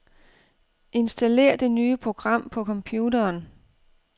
Installér det nye program på computeren.